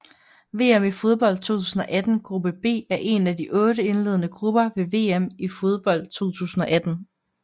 VM i fodbold 2018 gruppe B er en af otte indledende grupper ved VM i fodbold 2018